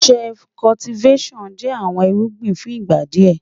Shift Cultivattion jẹ́ àwọn ìrùgbìn fún ìgbà díẹ́.